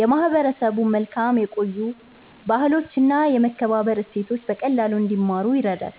የማህበረሰቡን መልካም የቆዩ ባህሎችና የመከባበር እሴቶች በቀላሉ እንዲማሩ ይረዳል።